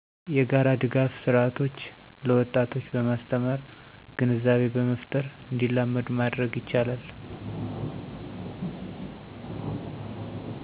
የጋራ ድጋፍ ስርአቶች ለወጣቶች በማስተማር ግንዛቤ በመፍጠር እንዲላመዱ ማድረግ ይቻላል።